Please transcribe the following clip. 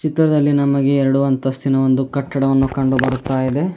ಇತ್ರದಲ್ಲಿ ನಮಗೆ ಎರಡು ಅಂತಸ್ತಿನ ಒಂದು ಕಟ್ಟಡವನ್ನು ಕಂಡುಬರುತಾಯಿದೆ.